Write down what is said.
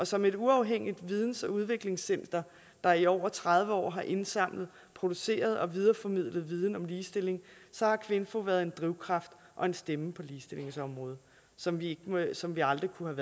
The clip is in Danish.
som et uafhængigt videns og udviklingscenter der i over tredive år har indsamlet produceret og videreformidlet viden om ligestilling har kvinfo været en drivkraft og en stemme på ligestillingsområdet som vi som vi aldrig kunne